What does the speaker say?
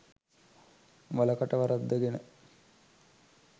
වල කට වරද්දගෙන